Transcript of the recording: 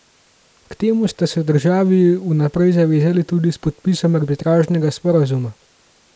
K temu sta se državi vnaprej zavezali tudi s podpisom arbitražnega sporazuma.